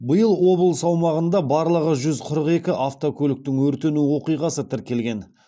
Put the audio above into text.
биыл облыс аумағында барлығы жүз қырық екі автокөліктің өртену оқиғасы тіркелген